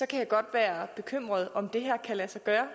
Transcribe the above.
kan jeg godt være bekymret for om det her kan lade sig gøre